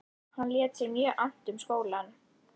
Hann lét sér mjög annt um skólann.